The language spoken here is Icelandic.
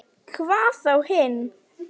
Hvað þá hinn.